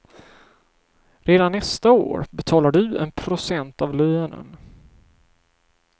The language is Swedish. Redan nästa år betalar du en procent av lönen.